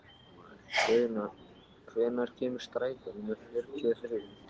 Guðna, hvenær kemur strætó númer fjörutíu og þrjú?